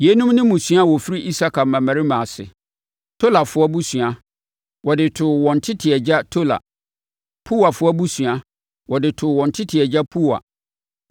Yeinom ne mmusua a wɔfiri Isakar mmammarima ase: Tolafoɔ abusua, wɔde too wɔn tete agya Tola. Puwafoɔ abusua, wɔde too wɔn tete agya Puwa.